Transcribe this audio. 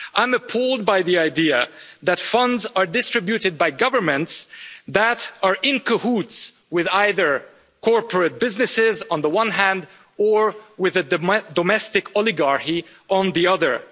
I'm appalled by the idea that funds are distributed by governments that are in cahoots with either corporate businesses, on the one hand, or with a domestic oligarchy on the other.